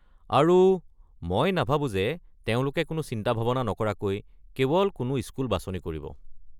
আৰু মই নাভাবো যে তেওঁলোকে কোনো চিন্তা-ভাবনা নকৰাকৈ কেৱল কোনো স্কুল বাছনি কৰিব।